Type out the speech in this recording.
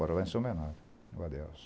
Mora lá em São Bernardo, no Adelso.